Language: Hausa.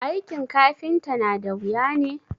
aikin kafinta nada wuya ne?